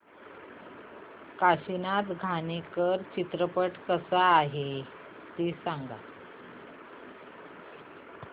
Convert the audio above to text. काशीनाथ घाणेकर चित्रपट कसा आहे ते सांग